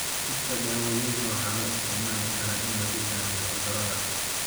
Dhirta dawooyinka waxaa loo isticmaali karaa in lagu daweeyo cudurrada.